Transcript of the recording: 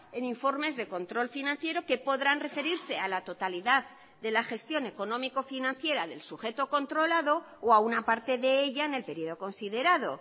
en informes de control financiero que podrán referirse a la totalidad de la gestión económico financiera del sujeto controlado o a una parte de ella en el periodo considerado